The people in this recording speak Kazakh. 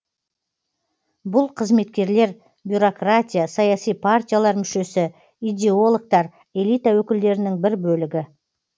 бұл қызметкерлер бюрократия саяси партиялар мүшесі идеологтар элита өкілдерінің бір бөлігі